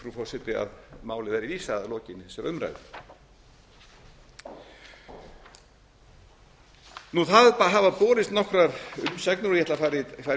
forseti að máli verði vísað að lokinni þessari umræðu það hafa borist nokkrar umsagnir ég ætla að fara í